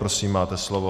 Prosím, máte slovo.